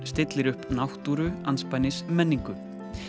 stillir upp náttúru menningu